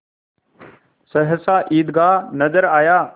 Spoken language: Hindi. सहसा ईदगाह नजर आया